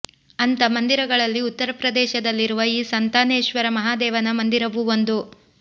ಅಂಥ ಮಂದಿರಗಳಲ್ಲಿ ಉತ್ತರ ಪ್ರದೇಶದಲ್ಲಿರುವ ಈ ಸಂತಾನೇಶ್ವರ ಮಹಾದೇವನ ಮಂದಿರವೂ ಒಂದು